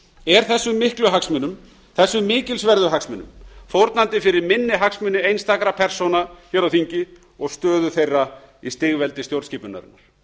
er þessum miklu hagsmunum þessum mikilsverðu hagsmunum fórnandi fyrir minni hagsmuni einstakra persóna hér á þingi og stöðu þeirra í stigveldi stjórnskipunarinnar